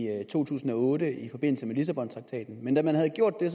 to tusind og otte i forbindelse med lissabontraktaten men da man havde gjort det